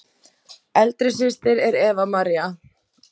Eldri systir er Eva María.